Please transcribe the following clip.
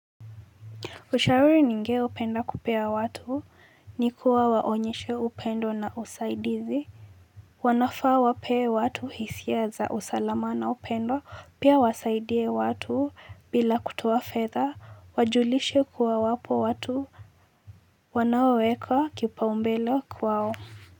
Ushauri ninge upenda kupea watu, ni kuwa waonyeshe upendo na usaidizi. Wanafaa wapee watu hisia za usalama na upendo, pia wasaidie watu bila kutoa fedha, wajulishe kuwa wapo watu, wanaoweka kipaumbele kwao.